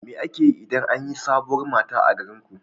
Me ake yi idan an yi sabuwar mata a garinku?